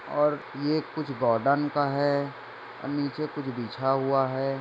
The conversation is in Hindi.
और ये कुछ गार्डन का है नीचे कुछ बिछा हुआ है।